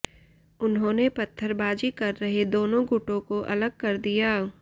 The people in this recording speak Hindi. उन्होंने पत्थरबाजी कर रहे दोनों गुटों को अलग कर दिया